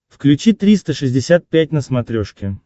включи триста шестьдесят пять на смотрешке